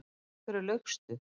Af hverju laugstu?